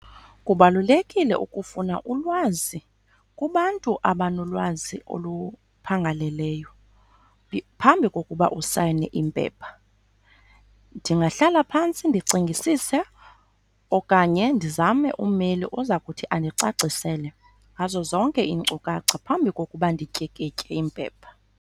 Kubalulekile ukufuna ulwazi kubantu abanolwazi oluphangaleleyo phambi kokuba usayine iimpepha. Ndingahlala phantsi ndicingisise okanye ndizame ummeli oza kuthi andicacisele ngazo zonke iinkcukacha phambi kokuba ndityikitye iimpepha.